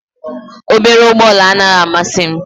Obere ụgbọ ala anaghị amasị m